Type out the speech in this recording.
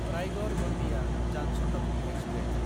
रायगड़–गन्डिया जान शताब्दि एक्सप्रेस